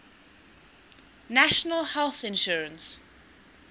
national health insurance